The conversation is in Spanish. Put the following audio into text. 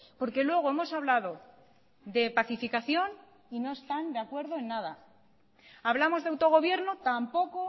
porque luego hemos hablado de pacificación y no están de acuerdo en nada hablamos de autogobierno tampoco